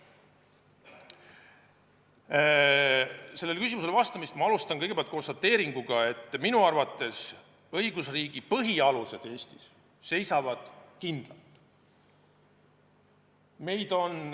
Sellele küsimusele vastamist alustan konstateeringuga, et minu arvates õigusriigi põhialused Eestis seisavad kindlalt.